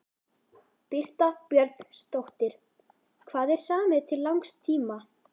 Birta Björnsdóttir: Hvað er samið til langs tíma?